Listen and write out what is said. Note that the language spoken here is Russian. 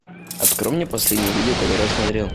открой мне последнее видео которое я смотрел